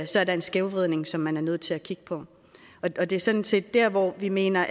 så er der en skævvridning som man er nødt til at kigge på det er sådan set der hvor vi mener